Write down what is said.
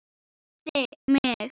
Með mig?